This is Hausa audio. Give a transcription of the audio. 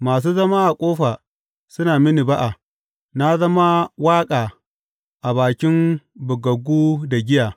Masu zama a ƙofa suna mini ba’a, na zama waƙa a bakin bugaggu da giya.